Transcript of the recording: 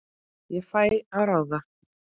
Ég fæ að ráða.